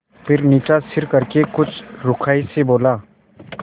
फिर नीचा सिर करके कुछ रूखाई से बोला